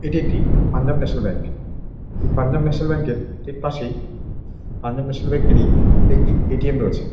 এটি একটি Punjab National Bank. এই পাঞ্জাব ন্যাশনাল ব্যাঙ্ক এর ঠিক পাশেই পাঞ্জাব ন্যাশনাল ব্যাঙ্ক এর একটি এ.টি.এম রয়েছে।